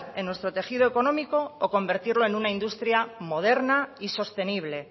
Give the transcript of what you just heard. en nuestro tejido económico o convertirlo en una industria moderna y sostenible